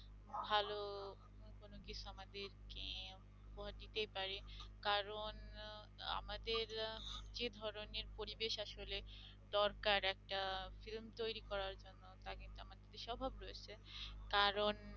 আমাদেরকে উপহার দিতে পারে কারণ আমাদের আহ যে ধরনের পরিবেশ আসলে দরকার একটা film তৈরি করার জন্য তা কিন্তু আমাদের দেশে অভাব রয়েছে কারণ